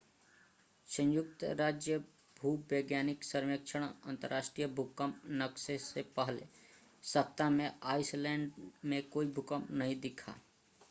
संयुक्त राज्य भूवैज्ञानिक सर्वेक्षण अंतरराष्ट्रीय भूकंप नक्शे से पहले सप्ताह में आइसलैंड में कोई भूकंप नहीं दिखा